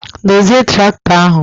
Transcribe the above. Dozie tractọ ahụ!